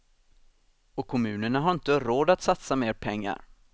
Och kommunerna har inte råd att satsa mer pengar.